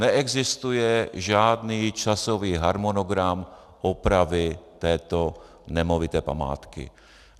Neexistuje žádný časový harmonogram opravy této nemovité památky.